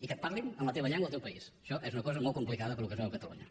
i que et parlin en la teva llengua al teu país això és una cosa molt complicada pel que es veu a catalunya